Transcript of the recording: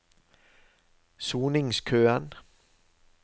soningskøen